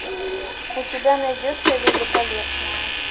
у тебя найдется великолепная